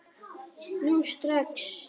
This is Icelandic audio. Nú strax!